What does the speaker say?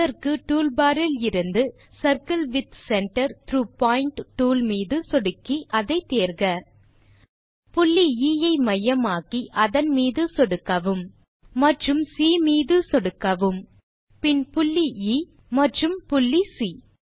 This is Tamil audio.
அதற்கு டூல் பார் இலிருந்து circle with centre through point tool மீது சொடுக்கி அதை தேர்க புள்ளி எ ஐ மையமாக்கி அதன் மீது சொடுக்கவும் மற்றும் சி மீது சொடுக்கவும் பின் புள்ளி எ மற்றும் புள்ளி சி